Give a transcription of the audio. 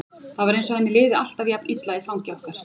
Það var eins og henni liði alltaf jafn illa í fangi okkar.